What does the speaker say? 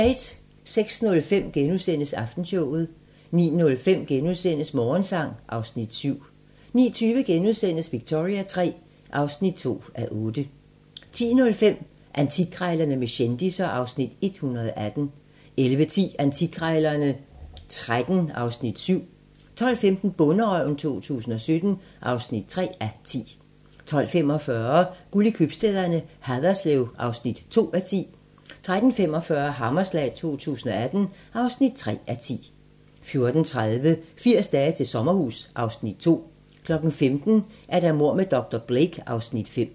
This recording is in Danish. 06:05: Aftenshowet * 09:05: Morgensang (Afs. 7)* 09:20: Victoria III (2:8)* 10:05: Antikkrejlerne med kendisser (Afs. 118) 11:10: Antikkrejlerne XIII (Afs. 7) 12:15: Bonderøven 2017 (3:10) 12:45: Guld i købstæderne - Haderslev (2:10) 13:45: Hammerslag 2018 (3:10) 14:30: 80 dage til sommerhus (Afs. 2) 15:00: Mord med dr. Blake (Afs. 5)